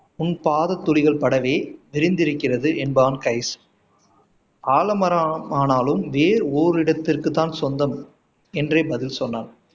உன் பாத துளிகள் படவே விரிந்திருக்கிறது என்பான் கைஸ் ஆலமரம் ஆனாலும் வேர் ஓர் இடத்திற்கு தான் சொந்தம் என்றே பதில் சொன்னாள்